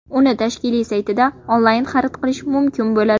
Uni tashkilot saytida onlayn xarid qilish mumkin bo‘ladi.